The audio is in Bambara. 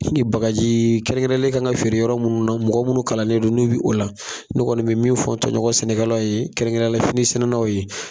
bagari kɛrɛn kɛrɛnlen kan ka feere yɔrɔ munnu na mɔgɔ minnu kalanlen do n'u bɛ o la ne kɔni bɛ min fɔ n tɔɲɔgɔn sɛnɛkɛlaw ye kɛrɛn kɛrɛnya fini sɛnɛnnaw ye.